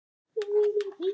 Elsku Borga!